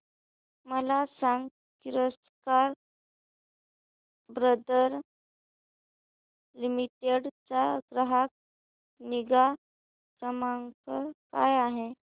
मला सांग Kirloskar Brother Limited चा ग्राहक निगा क्रमांक काय आहे